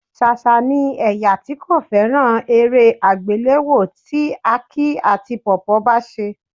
Ṣàṣà ni ẹ̀yà tí kò fẹ́ràn eré àgbéléwò tí Aki àti Pawpaw bá ṣe